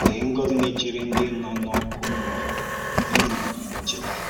Lée ngózì nà-èchèré ǹdí nọ n’ọ́kụ́ mmúọ̀ “ìlì ncheta!